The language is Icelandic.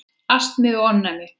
Astmi og ofnæmi